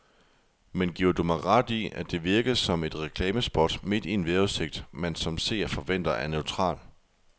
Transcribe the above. Men giver du mig ret i, at det virkede som et reklamespot midt i en vejrudsigt, man som seer forventer er neutral.